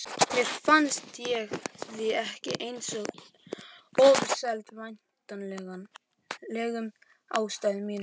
Mér fannst ég því ekki eins ofurseld væntanlegum aðstæðum mínum.